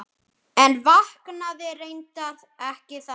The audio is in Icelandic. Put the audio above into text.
En vaknaði reyndar ekki þannig.